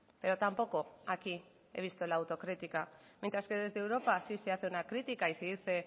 pero tampoco aquí he visto la autocrítica mientras que desde europa sí se hace una crítica y se dice